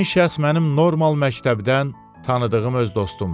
Həmin şəxs mənim normal məktəbdən tanıdığım öz dostumdur.